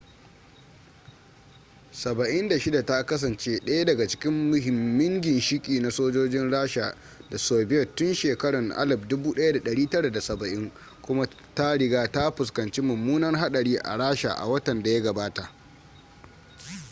il-76 ta kasance daya daga cikin muhimmin ginshiki na sojojin rasha da soviet tun shekarun 1970 kuma ta riga ta fuskanci mummunar hadari a rasha a watan da ya gabata